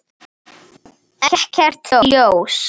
Ekkert ljós.